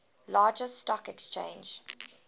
largest stock exchange